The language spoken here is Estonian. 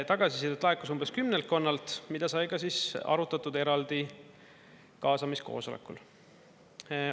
Tagasisidet laekus umbes kümmekonnalt, mida sai ka siis arutatud eraldi kaasamiskoosolekul.